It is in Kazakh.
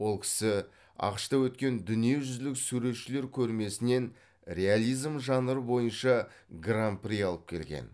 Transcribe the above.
ол кісі ақш та өткен дүниежүзілік суретшілер көрмесінен реализм жанры бойынша гран при алып келген